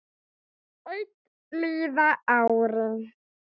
Enn líða árin.